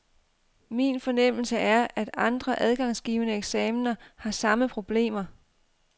Min fornemmelse er, at andre adgangsgivende eksaminer har samme problemer.